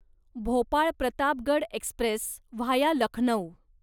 Bhopal Pratapgarh express via Lucknow